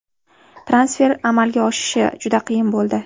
Transfer amalga oshishi juda qiyin bo‘ldi.